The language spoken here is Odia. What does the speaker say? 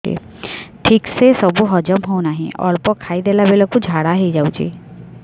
ଠିକସେ ସବୁ ହଜମ ହଉନାହିଁ ଅଳ୍ପ ଖାଇ ଦେଲା ବେଳ କୁ ଝାଡା ହେଇଯାଉଛି